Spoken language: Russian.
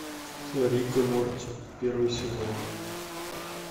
рик и морти первый сезон